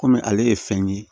Kɔmi ale ye fɛn ye